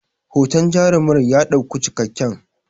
hoton jarumar ya ɗauku cikakken